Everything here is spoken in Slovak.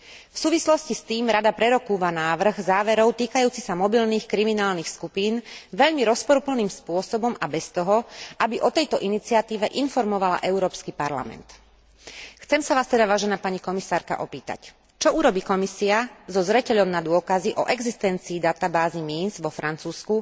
V súvislosti s tým Rada prerokúva návrh záverov týkajúcich sa mobilných kriminálnych skupín veľmi rozporuplným spôsobom a bez toho, aby o tejto iniciatíve informovala Európsky parlament. Chcem sa Vás teda, vážená pani komisárka, opýtať čo urobí Komisia so zreteľom na dôkazy o existencii databázy MINS vo Francúzsku